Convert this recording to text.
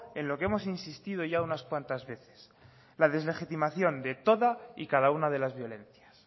en lo que hemos insistido ya unas cuantas veces la deslegitimación de todas y cada una de las violencias